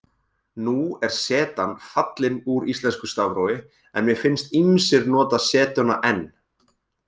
Nú er zetan fallin úr íslensku stafrófi en mér finnst ýmsir nota zetuna enn.